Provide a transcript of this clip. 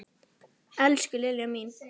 Elsku Lilja mín.